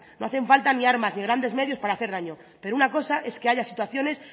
no hacen falta ni armas ni grandes medios para hacer daño pero una cosa es que haya situaciones